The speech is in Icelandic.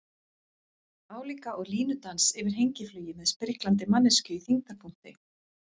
Álíka og línudans yfir hengiflugi með spriklandi manneskju í þyngdarpunkti.